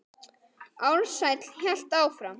Ársæll hélt áfram.